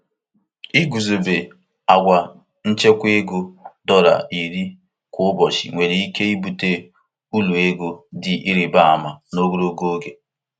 Iguzobe agwa ichekwa ego dọla iri kwa ụbọchị nwere ike ibute uru ego dị ịrịba ama n'ogologo oge.